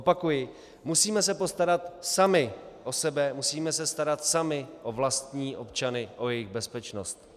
Opakuji, musíme se postarat sami o sobe, musíme se starat sami o vlastní občany, o jejich bezpečnost.